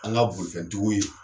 An ka bolitigiw ye